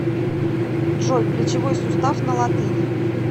джой плечевой сустав на латыни